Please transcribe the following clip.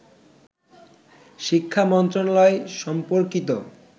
শিক্ষা মন্ত্রণালয় সম্পর্কিত